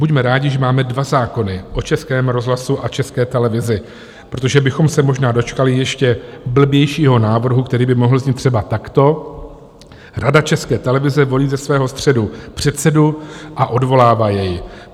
Buďme rádi, že máme dva zákony o Českém rozhlasu a České televizi, protože bychom se možná dočkali ještě blbějšího návrhu, který by mohl znít třeba takto: Rada České televize volí ze svého středu předsedu a odvolává jej.